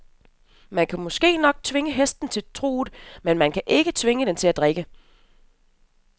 Man kan måske nok tvinge hesten til truget, men man kan ikke tvinge den til at drikke.